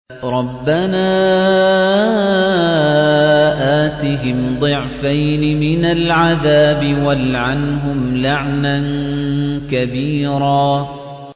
رَبَّنَا آتِهِمْ ضِعْفَيْنِ مِنَ الْعَذَابِ وَالْعَنْهُمْ لَعْنًا كَبِيرًا